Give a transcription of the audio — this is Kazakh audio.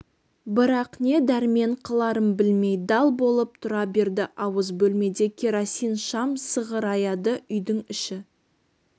бірақ не дәрмен қыларын білмей дал болып тұра берді ауыз бөлмеде керосин шам сығыраяды үйдің іші